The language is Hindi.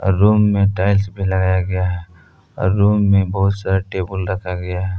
रूम में टाइल्स भी लगाया गया है और रूम में बहुत सारा टेबल रखा गया है।